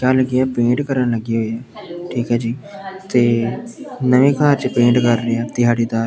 ਕਿਆ ਲੱਗੇ ਪੇਂਟ ਕਰਨ ਲੱਗੇ ਹੋਏ ਆ ਠੀਕ ਆ ਜੀ ਤੇ ਨਵੇਂ ਘਰ ਚ ਪੇਂਟ ਕਰ ਰਹੇ ਆ ਦਿਹਾੜੀਦਾਰ।